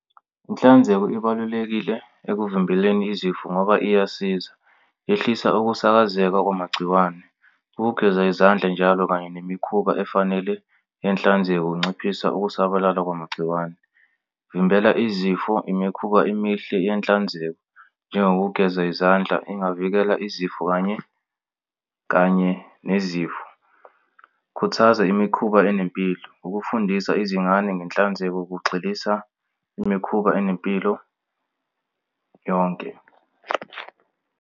Inhlanzeko ibalulekile ekuvimbeleni izifo ngoba iyasiza. Yehlisa ukusakaza kwamagciwane, ukugeza izandla njalo kanye nemikhuba efanele inhlanzeko kunciphisa ukusabalala kwamagciwane. Vimbela izifo, imikhuba emihle yenhlanzeko njengokugeza izandla engavikela izifo kanye kanye nezifo. Khuthaza imikhuba enempilo. Ukufundisa izingane ngenhlanzeko kugxilisa imikhuba enempilo yonke.